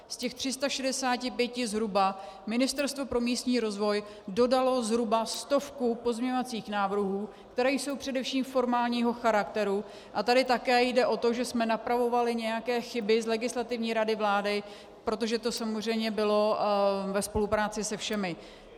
Z těch 365 zhruba Ministerstvo pro místní rozvoj dodalo zhruba stovku pozměňovacích návrhů, které jsou především formálního charakteru, a tady také jde o to, že jsme napravovali nějaké chyby z Legislativní rady vlády, protože to samozřejmě bylo ve spolupráci se všemi.